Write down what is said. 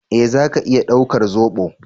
Eh zaka iya daukar zobo?